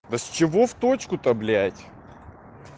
да с чего в точку то блядь